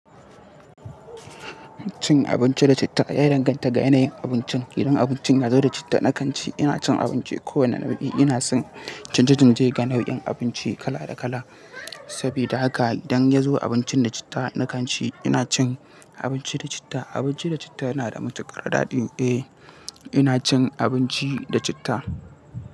Cin abinci da citta ya danganta ga yanayin abincin. Idan abincin ya zo da citta, na kan ci. Ina cin abinci kowane nau'i ne. Ina son canje-canje ga nau'in abinci kala-da-kala. Saboda haka idan ya zo abincin da citta, na kan ci. Ina cin abinci da citta. Abinci da citta yana da matuƙar daɗi. Eh, ina cin abinci da citta.